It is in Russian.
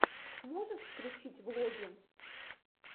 можешь включить влоги